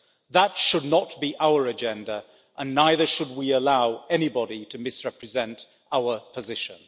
That should not be our agenda, and neither should we allow anybody to misrepresent our position.